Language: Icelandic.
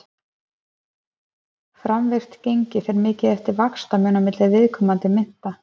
framvirkt gengi fer mikið eftir vaxtamun á milli viðkomandi mynta